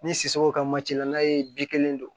Ni sogow ka la n'a ye bi kelen don